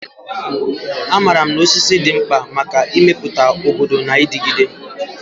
Amaara m na osisi dị mkpa maka ịmepụta obodo na-adigide.